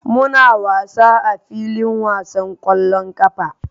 Muna wasa a filin wasan ƙwallon ƙafa.